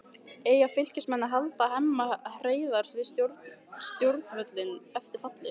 Eiga Fylkismenn að halda Hemma Hreiðars við stjórnvölinn eftir fallið?